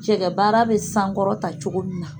Cɛkɛ baara bɛ sankɔrɔta cogo min na